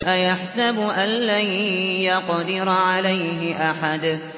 أَيَحْسَبُ أَن لَّن يَقْدِرَ عَلَيْهِ أَحَدٌ